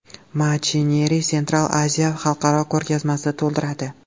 Machinery Central Asia” xalqaro ko‘rgazmasi to‘ldiradi.